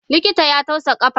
Likitan ya tausa kafata.